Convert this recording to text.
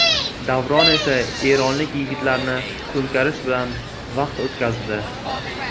Davron esa eronlik yigitlarni to‘nkarish bilan vaqt o‘tkazdi.